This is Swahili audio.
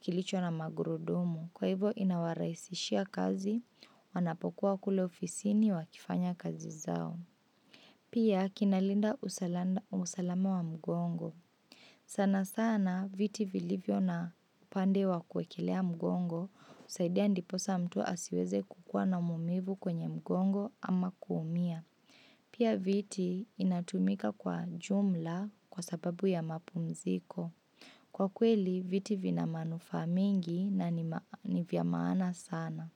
kilicho na magurudumu. Kwa hivo inawarahisishia kazi wanapokuwa kule ofisini wakifanya kazi zao. Pia kinalinda usalama wa mgongo. Sana sana viti vilivyo na upande wa kuwekelea mgongo, husaidia ndiposa mtu asiweze kukuwa na maumivu kwenye mgongo ama kuumia. Pia viti inatumika kwa jumla kwa sababu ya mapumziko. Kwa kweli viti vina manufaa mengi na ni vya maana sana.